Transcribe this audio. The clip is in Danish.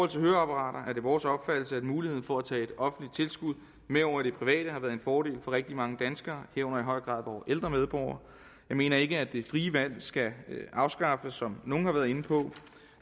til høreapparater er det vores opfattelse at muligheden for at tage et offentligt tilskud med over i det private har været en fordel for rigtig mange danskere herunder i høj grad vore ældre medborgere jeg mener ikke at det frie valg skal afskaffes som nogle har været inde på